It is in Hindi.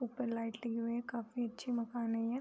ऊपर लाइट लगी हुई है काफी अच्छे मकान है ये--